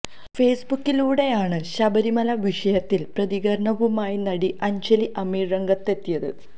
ഫേസ്ബുക്കിലൂടെയാണ് ശബരിമല വിഷയത്തില് പ്രതികരണവുമായി നടി അഞ്ജലി അമീര് രംഗത്ത് എത്തിയത്